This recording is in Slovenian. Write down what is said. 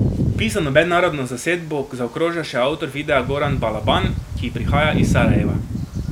Pisano mednarodno zasedbo zaokroža še avtor videa Goran Balaban, ki prihaja iz Sarajeva.